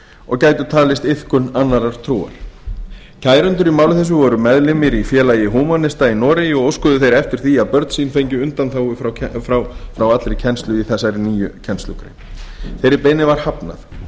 og gætu talist iðkun annarrar trúar kærendur í máli þessu voru meðlimir í félagi húmanista í noregi og óskuðu þeir eftir því að börn sín fengju undanþágu frá allri kennslu í þessari nýju kennslugrein þeirri beiðni var hafnað